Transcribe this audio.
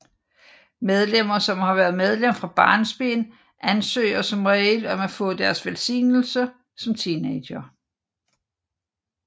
Medlemmer som har været medlem fra barnsben ansøger som regel om at få deres velsignelse som teenagere